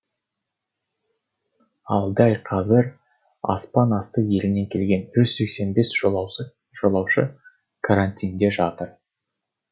ал дәл қазір аспан асты елінен келген жүз сексен бес жолаушы карантинде жатыр